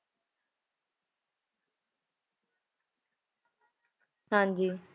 ਹਾਂਜੀ